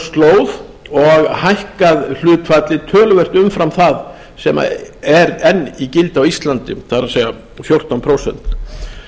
slóð og hækkað hlutfallið töluvert umfram það sem er enn í gildi á íslandi það er fjórtán prósent